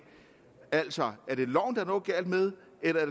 altså er det loven der er noget galt med eller er